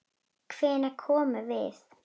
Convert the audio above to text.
Hvenær komum við?